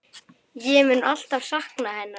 Ég mun alltaf sakna hennar.